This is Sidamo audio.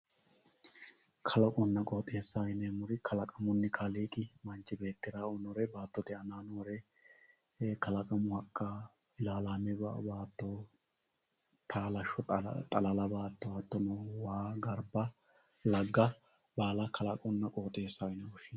kalaqonna qooxeessaho yineemmori kalaqamunni kaaliiqi manchi beettira baattote aanaa noore kalaqamu Hakka ilaalaame baatto taalashsho xalala baatto hattono waa garba lagga baala kalaqonna qooxeessaho yine woshshinanni.